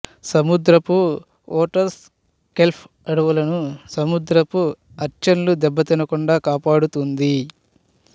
సముద్రపు otters kelp అడవులను సముద్రపు అర్చిన్ల దెబ్బతినకుండా కాపాడుతుంది